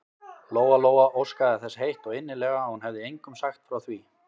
Lóa-Lóa óskaði þess heitt og innilega að hún hefði engum sagt frá því.